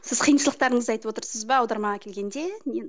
сіз қиыншылықтарыңызды айтып отырсыз ба аудармаға келгенде